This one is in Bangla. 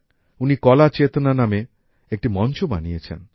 উনি কলা চেতনা নামক একটি মঞ্চ বানিয়েছেন